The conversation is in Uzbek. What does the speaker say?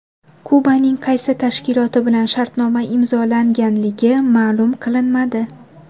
Kubaning qaysi tashkiloti bilan shartnoma imzolanganligi ma’lum qilinmadi.